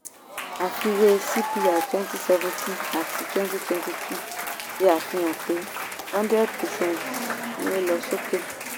àfiwé cpi twenty seventeen àti twenty twenty two ṣe àfihàn pé hundred percent ni ó lọ sókè.